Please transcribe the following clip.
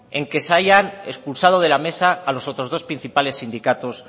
en que se haya expulsado de la mesa a los otros dos principales sindicatos